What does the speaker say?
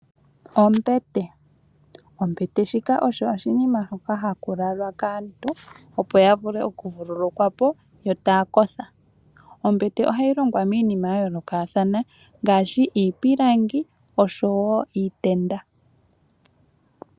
Ombete, ombete shika osho oshinima hoka hakulalwa kaantu opo yavule okuvululukwa po yo tayakotha. Ombete ohayi longwa miinima yayoolokathana ngaashi iipilangi osho wo iitenda.